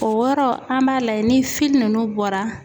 O wɔrɔ an b'a lajɛ ni fili nunnu bɔra